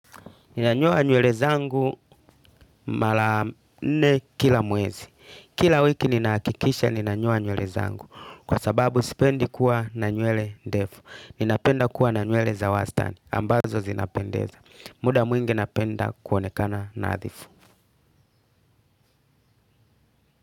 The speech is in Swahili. Ninanyoa nywele zangu mara nne kila mwezi. Kila wiki ninahakikisha ninanyoa nywele zangu. Kwa sababu sipendi kuwa na nywele ndefu. Ninapenda kuwa na nywele za wastani. Ambazo zinapendeza. Muda mwingi napenda kuonekana nadhifu.